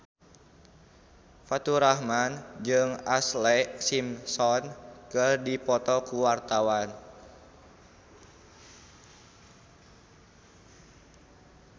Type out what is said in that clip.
Faturrahman jeung Ashlee Simpson keur dipoto ku wartawan